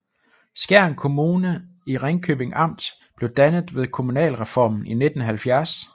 Skjern Kommune i Ringkøbing Amt blev dannet ved kommunalreformen i 1970